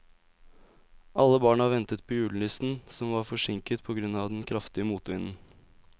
Alle barna ventet på julenissen, som var forsinket på grunn av den kraftige motvinden.